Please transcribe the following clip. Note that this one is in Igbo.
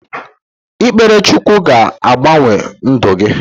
Ikpere Chukwu ga-agbanwe ndụ gi